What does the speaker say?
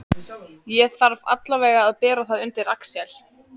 Ég þarf allavega að bera það undir Axel.